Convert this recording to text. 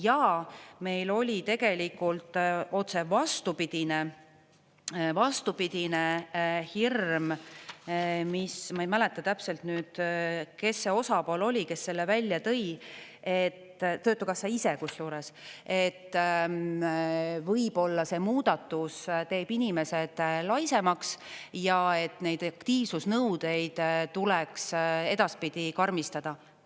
Ja meil oli tegelikult otse vastupidine hirm – ma ei mäleta täpselt, kes see osapool oli, kes selle välja tõi, töötukassa ise, kusjuures –, et võib-olla see muudatus teeb inimesed laisemaks ja et neid aktiivsusnõudeid tuleks edaspidi karmistada.